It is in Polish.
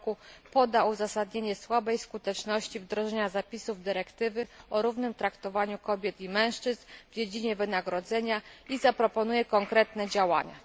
r. poda uzasadnienie słabej skuteczności wdrożenia zapisów dyrektywy o równym traktowaniu kobiet i mężczyzn w dziedzinie wynagrodzenia i zaproponuje konkretne działania.